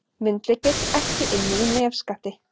Myndlykill ekki inni í nefskatti